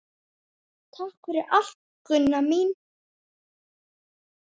Takk fyrir allt, Gunna mín.